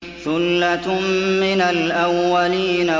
ثُلَّةٌ مِّنَ الْأَوَّلِينَ